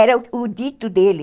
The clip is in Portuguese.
Era o dito dele.